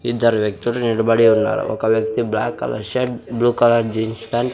ఇద్దరు వ్యక్తులు నిలబడి ఉన్నారు. ఒక వ్యక్తి black colour shirt blue colour jeans pant --